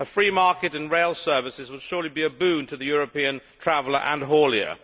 A free market in rail services will surely be a boon to the European traveller and haulier.